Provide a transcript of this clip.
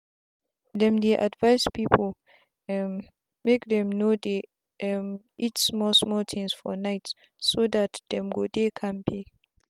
them dey advise people um make dem no dey um eat small small things for night so that dem go dey kampe.